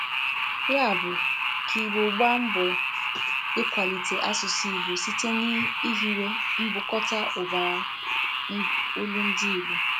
Ya bụ, ka Igbo gbaa mbọ ịkwalite asụsụ Igbo site n'ihiwe mbukọta ụbara olundị Igbo